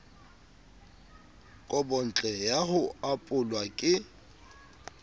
kobontle ya ho apolwa e